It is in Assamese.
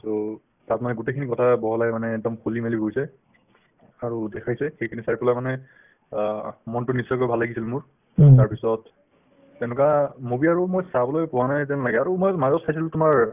so, তাত মানে গোটেইখিনি কথা বহলাই মানে একদম খুলি-মেলি কৈছে আৰু দেখাইছে সেইখিনি চাই পেলাই মানে অ মনতো নিশ্চয়কৈ ভাল লাগিছিল মোৰ তাৰপিছত তেনেকুৱা movie আৰু মই চাবলৈ পোৱা নাই যেন লাগে আৰু মই মাজত চাইছিলো তোমাৰ